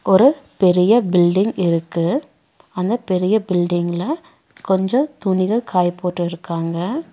ஒரு பெரிய பில்டிங் இருக்கு அந்த பெரிய பில்டிங்ல கொஞ்சோ துணிகள் காய போட்டிருக்காங்க.